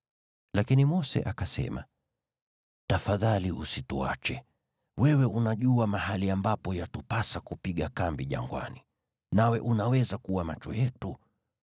Lakini Mose akasema, “Tafadhali usituache. Wewe unajua mahali ambapo yatupasa kupiga kambi jangwani, nawe unaweza kuwa macho yetu.